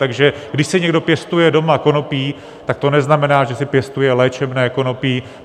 Takže když si někdo pěstuje doma konopí, tak to neznamená, že si pěstuje léčebné konopí.